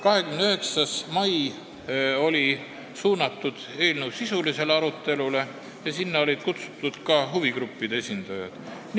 29. mail toimus eelnõu sisuline arutelu ja sinna olid kutsutud ka huvigruppide esindajad.